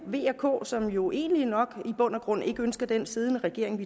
v og k som jo egentlig nok i bund og grund ikke ønsker den siddende regering